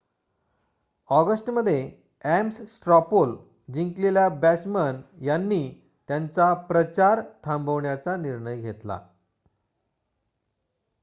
ऑगस्टमध्ये Ames straw poll जिंकलेल्या Bachmann यांनी त्यांचा प्रचार थांबवण्याचा निर्णय घेतला